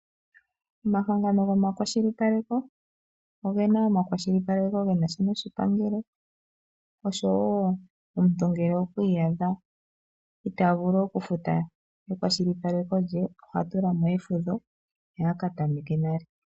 Omahangano gomakwashilipaleko ogena omakwashilipaleko ge na sha noshipangelo osho wo omuntu ngele okwi iyadha itaa vulu okufuta ekwashilipaleko lye oha tula mo efudho ye a ka tameke nale.